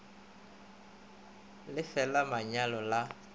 le fe la manyalo la